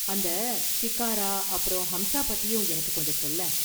அந்த ஷிகாரா அப்பறம் ஹம்ஸா பத்தியும் எனக்கு கொஞ்சம் சொல்லேன்.